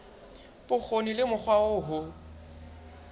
bokgoni le mokgwa oo ho